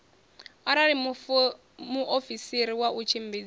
arali muofisiri wa u tshimbidza